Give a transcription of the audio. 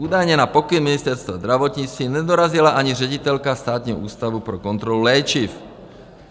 Údajně na pokyn Ministerstva zdravotnictví nedorazila ani ředitelka Státního ústavu pro kontrolu léčiv.